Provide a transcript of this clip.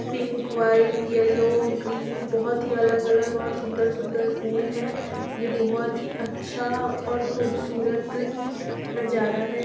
Pink white yellow green बहोत ही अलग-अलग और सुन्दर-सुन्दर फूल है ये बहोत ही अच्छा और खूबसूरत ही नज़ारा है।